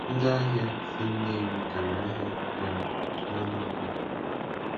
Ndị ahịa si Nnewi gara ahịa um nAnambra.